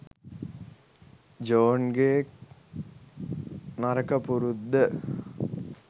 ජෝන්ගේ නරක පුරුද්ද.